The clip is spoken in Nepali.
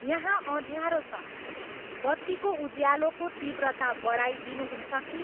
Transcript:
यहाँ अँध्यारो छ, बत्तीको उज्यालोको तीव्रता बढाइ दिनुहुन्छ कि